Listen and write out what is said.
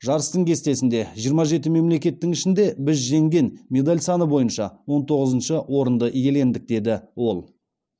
жарыстың кестесінде жиырма жеті мемлекеттің ішінде біз жеңген медаль саны бойынша он тоғызыншы орынды иелендік деді ол